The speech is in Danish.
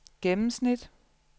gennemsnit